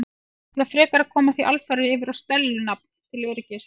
Ég ætla frekar að koma því alfarið yfir á Stellu nafn til öryggis.